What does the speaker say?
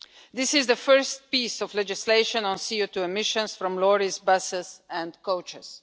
This is the first piece of legislation on CO2 emissions from lorries, buses and coaches.